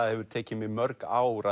hefur tekið mig mörg ár